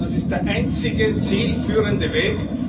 Ich glaube, das ist der einzige zielführende Weg.